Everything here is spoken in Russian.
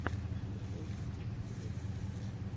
скачай видеокомпиляции